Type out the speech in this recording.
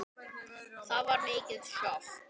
Það var mikið sjokk.